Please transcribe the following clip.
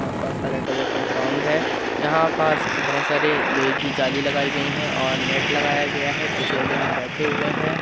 वहां पास हरे कलर का ग्राउंड है यहां पास बहुत सारे लोहे की जाली लगायी गयी हैं और नेट लगाया गया है कुछ लोग यहां पर बैठे हैं।